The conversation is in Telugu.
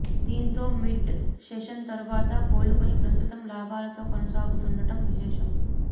దీంతో మిడ్ సెషన్ తరువాత కోలుకుని ప్రస్తుతం లాభాలతో కొనసాగుతుండటం విశేషం